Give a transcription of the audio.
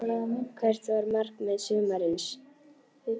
Hvert var markmið sumarsins?